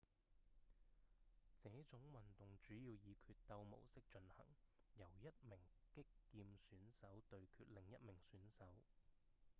這種運動主要以決鬥模式進行由一名擊劍選手對決另一名選手